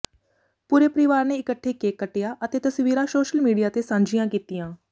ਪੂਰੇ ਪਰਿਵਾਰ ਨੇ ਇਕੱਠੇ ਕੇਕ ਕੱਟਿਆ ਅਤੇ ਤਸਵੀਰਾਂ ਸ਼ੋਸ਼ਲ ਮੀਡੀਆ ਤੇ ਸਾਂਝੀਆਂ ਕੀਤੀਆਂ